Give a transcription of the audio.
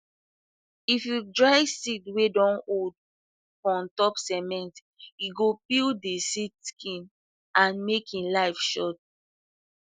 if you dry seed wey don old for untop cement e go peel de seed skin and make e life short